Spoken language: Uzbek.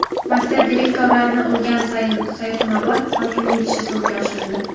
Maktab direktorlarini urgan Sayxunobod hokimining ishi sudga oshirildi .